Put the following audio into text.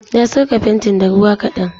Na sirka fentin da ruwa ƙadan.